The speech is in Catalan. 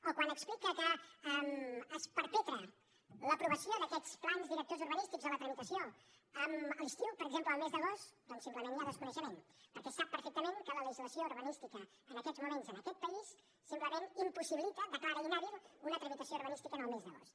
o quan explica que es perpetra l’aprovació d’aquests plans directors urbanístics o la tramitació a l’estiu per exemple al mes d’agost doncs simplement hi ha desconeixement perquè sap perfectament que la legislació urbanística en aquests moments en aquest país simplement impossibilita declara inhàbil una tramitació urbanística en el mes d’agost